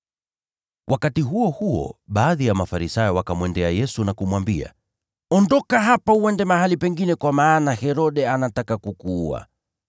Wakati huo huo baadhi ya Mafarisayo wakamwendea Yesu na kumwambia, “Ondoka hapa uende mahali pengine kwa maana Herode anataka kukuua.”